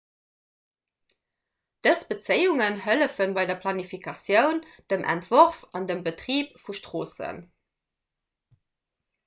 dës bezéiungen hëllefe bei der planifikatioun dem entworf an dem betrib vu stroossen